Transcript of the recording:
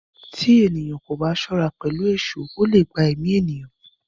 Tí ènìyàn kò bá ṣọ́ra pẹ̀lú èṣọ́, ó leè gba èmí ènìyàn